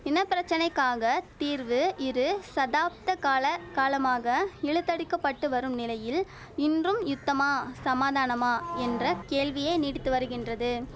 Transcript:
இனப்பிரச்சனைக்காக தீர்வு இரு சாதப்தகால காலமாக இழுத்தடிக்கப்பட்டு வரும் நிலையில் இன்றும் யுத்தமா சமாதானமா என்ற கேள்வியே நீடித்து வரிகின்றது